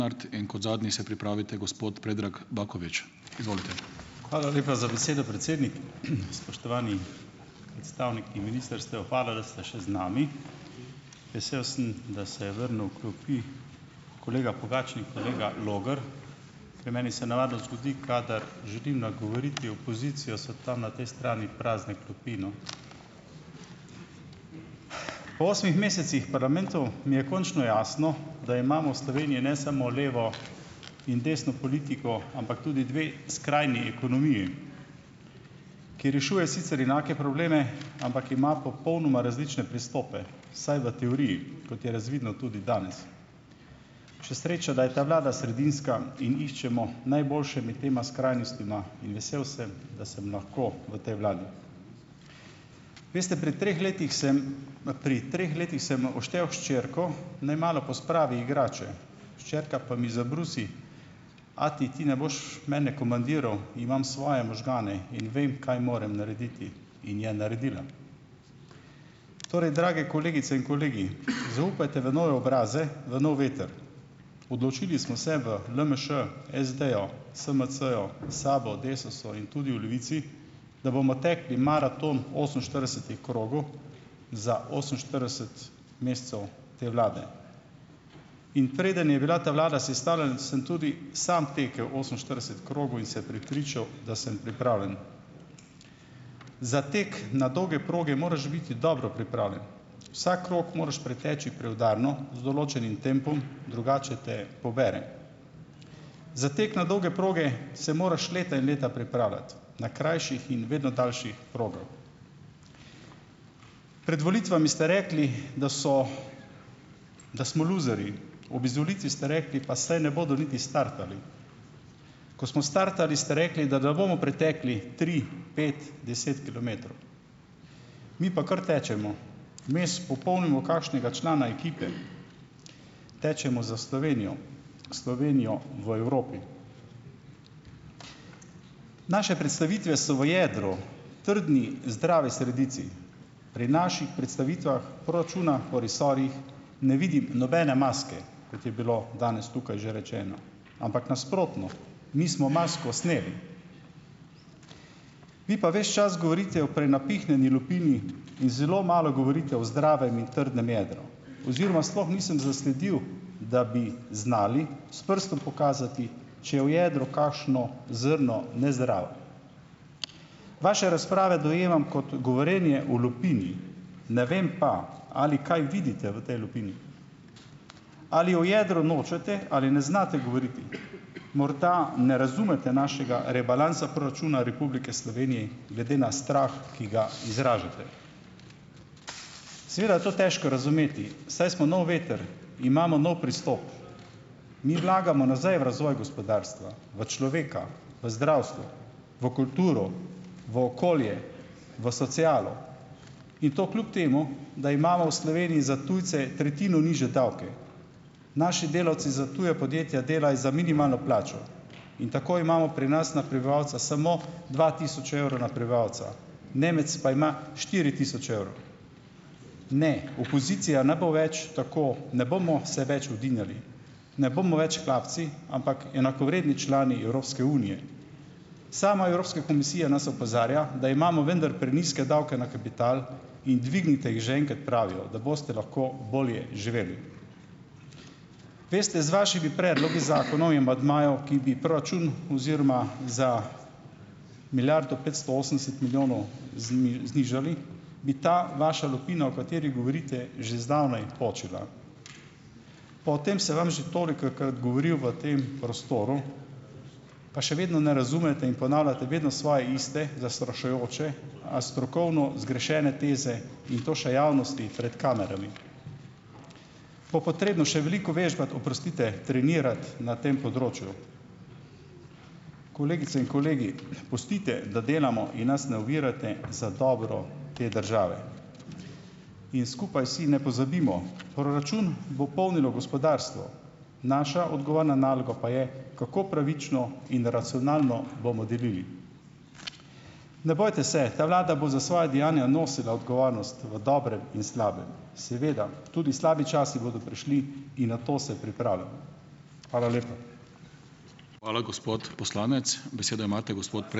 Hvala lepa za besedo, predsednik. Spoštovani predstavniki ministrstev! Hvala, da ste še z nami. Vesel sem, da se je vrnil v klopi kolega Pogačnik, kolega Logar, ker meni se navadno zgodi, kadar želim nagovoriti opozicijo, so tam na tej strani prazne klopi, no. Po osmih mesecih parlamentu mi je končno jasno, da imamo v Sloveniji ne samo levo in desno politiko, ampak tudi dve skrajni ekonomiji, ki rešuje sicer enake probleme, ampak ima popolnoma različne pristope, vsaj v teoriji, kot je razvidno tudi danes. Še sreča, da je ta vlada sredinska in iščemo najboljše med tema skrajnostma in vesel sem, da sem lahko v tej vladi. Veste, pri treh letih sem pri treh letih sem oštel hčerko, naj malo pospravi igrače. Hčerka pa mi zabrusi: "Ati, ti ne boš mene komandiral, imam svoje možgane in vem, kaj morem narediti." In je naredila. Torej, drage kolegice in kolegi, zaupajte v nove obraze, v nov veter. Odločili smo se v LMŠ, SD-ju, SMC-ju, SAB-u, Desusu in tudi v Levici, da bomo tekli maraton oseminštiridesetih krogov za oseminštirideset mesecev te vlade. In preden je bila ta vlada sestavljena, sem tudi sam tekel oseminštirideset krogov in se prepričal, da sem pripravljen. Za tek na dolge proge moraš biti dobro pripravljen. Vsak krog moraš preteči preudarno z določenim tempom, drugače te pobere. Za tek na dolge proge se moraš leta in leta pripravljati na krajših in vedno daljših progah. Pred volitvami ste rekli, da so da smo luzerji. Ob izvolitvi ste rekli: "Pa saj ne bodo niti startali." Ko smo startali, ste rekli, da ne bomo pretekli tri, pet, deset kilometrov. Mi pa kar tečemo. Vmes popolnimo kakšnega člana ekipe. Tečemo za Slovenijo, Slovenijo v Evropi. Naše predstavitve so v jedru trdni, zdravi sredici, pri naših predstavitvah proračuna o resorjih ne vidim nobene maske, kot je bilo danes tukaj že rečeno, ampak nasprotno. Mi smo masko sneli. Vi pa ves čas govorite o prenapihnjeni lupini in zelo malo govorite o zdravem in trdnem jedru oziroma sploh nisem zasledil, da bi znali s prstom pokazati, če je v jedru kakšno zrno nezdravo. Vaše razprave dojemam kot govorjenje o lupini, ne vem pa, ali kaj vidite v tej lupini. Ali o jedru nočete ali ne znate govoriti? Morda ne razumete našega rebalansa proračuna Republike Slovenije, glede na strah, ki ga izražate. Seveda je to težko razumeti, saj smo nov veter, imamo nov pristop. Mi vlagamo nazaj v razvoj gospodarstva, v človeka, v zdravstvo, v kulturo, v okolje, v socialo. In to kljub temu, da imamo v Sloveniji za tujce tretjino nižje davke. Naši delavci za tuja podjetja delajo za minimalno plačo in tako imamo pri nas na prebivalca samo dva tisoč evrov na prebivalca. Nemec pa ima štiri tisoč evrov. Ne, opozicija ne bo več tako, ne bomo se več udinjali, ne bomo več hlapci, ampak enakovredni člani Evropske unije. Sama Evropska komisija nas opozarja, da imamo vendar prenizke davke na kapital, in dvignite jih že enkrat, pravijo, da boste lahko bolje živeli. Veste, z vašimi predlogi, zakoni in amandmaji, ki bi proračun oziroma za milijardo petsto osemdeset milijonov znižali, bi ta vaša lupina, o kateri govorite, že zdavnaj počila. Pa o tem sem vam že tolikokrat govoril v tem prostoru, pa še vedno ne razumete in ponavljate vedno svoje iste, zastrašujoče, a strokovno zgrešene teze in to še javnosti, pred kamerami. Bo potrebno še veliko vežbati, oprostite, trenirati na tem področju. Kolegice in kolegi, pustite, da delamo in nas ne ovirate za dobro te države. In skupaj si ne pozabimo: proračun bo polnilo gospodarstvo, naša odgovorna naloga pa je, kako pravično in racionalno bomo delili. Ne bojte se, ta vlada bo za svoja dejanja nosila odgovornost v dobrem in slabem. Seveda, tudi slabi časi bodo prišli in na to se pripravljamo. Hvala lepa.